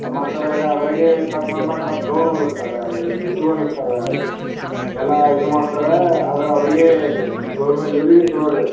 ಮತ್ತ್ ಅದರಾಗ ಅದರಗೆ ಕಟ್ ಕಟ್ ಮಾಡ್ ಮಾಡ್ ಗೌನ್ ಹೋಲಿಸುತ್ತಾರ ಮ್ ಎಲ್ಲ ಇದು ಮಾಡ್ತಾರಾ ಆದ್ರೆ ಆವರಿಗೆ ಗೊವ್ರ್ ಇವರಿಗೆ ಚಲೋ ರೀ ಅದು.